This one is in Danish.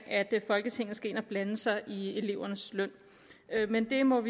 at folketinget skal ind at blande sig i elevernes løn men det må